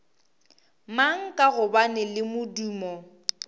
mang ka gobane le modumo